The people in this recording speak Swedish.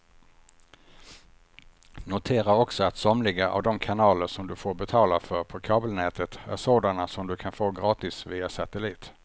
Notera också att somliga av de kanaler som du får betala för på kabelnätet är sådana som du kan få gratis via satellit.